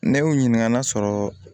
Ne y'u ɲininka n'a sɔrɔ